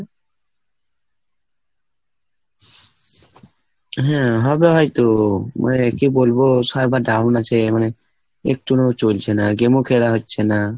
হ্যাঁ. হবে হয়তো, মানে কি বলবো? server down আছে। মানে একটুও চলছে না. game ও খেলা হচ্ছে না।